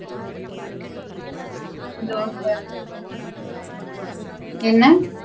தோச என்ன?